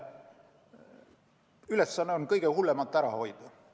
Ülesanne on kõige hullemat ära hoida.